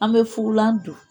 An bɛ fugulan